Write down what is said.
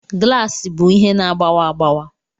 Glaasị bụ ihe na-agbawa agbawa